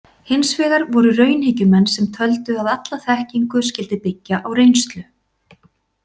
Hins vegar voru raunhyggjumenn, sem töldu að alla þekkingu skyldi byggja á reynslu.